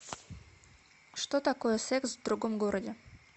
что такое секс в другом городе